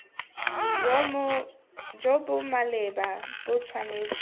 jo bo maleba bo tshwanetse